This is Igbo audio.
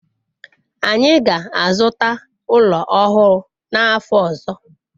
anyi ga-azuta ulo ohuru n'afo ozo